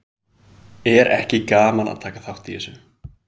Magnús Hlynur Hreiðarsson: Er ekki gaman að taka þátt í þessu?